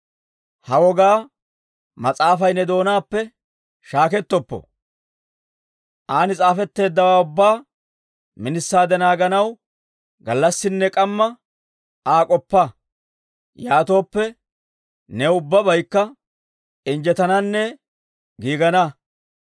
Ha Wogaa Mas'aafay ne doonaappe shaakettoppo; an s'aafetteeddawaa ubbaa minisaade naaganaw, gallassinne k'amma Aa k'oppa. Yaatooppe, new ubbabaykka injjetananne giigana.